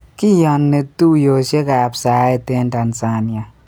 Kiyani tuiyosek ab saet eng Tansania